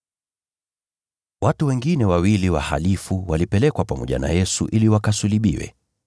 Watu wengine wawili wahalifu, walipelekwa pamoja na Yesu ili wakasulubiwe.